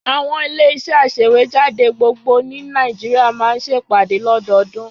Àwọn ilé-iṣẹ́ aṣèwéjádé gbogbo ní Nàìjíríà máa ń ṣe ìpàdé lọ́dọọdún.